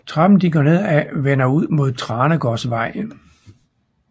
Trappen de går ned af vender ud mod Tranegårdsvej